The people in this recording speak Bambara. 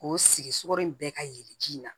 K'o sigi sugoro in bɛɛ ka yelen ji in na